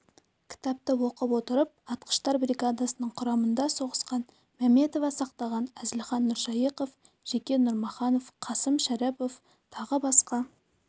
кітапты оқып отырып атқыштар бригадасының құрамында соғысқан мәметова сақтаған әзілхан нұршайықов жекен жұмаханов қасым шәріпов тағы басқа